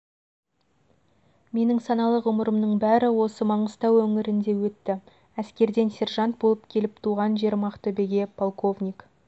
менің саналы ғұмырымның бәрі осы маңғыстау өңірінде өтті әскерден сержант болып келіп туған жерім ақтөбеге полковник